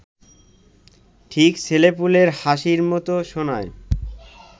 ঠিক ছেলেপুলের হাসির মতো শোনায়